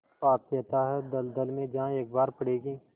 पाप के अथाह दलदल में जहाँ एक बार पड़े कि